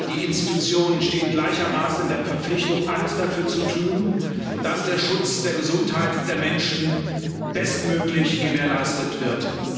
Wir alle die Institutionen stehen gleichermaßen in der Verpflichtung, alles dafür zu tun, dass der Schutz der Gesundheit der Menschen bestmöglich gewährleistet wird.